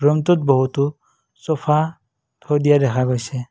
ৰংটোত বহুতো ছ'ফা থৈ দিয়া দেখা গৈছে।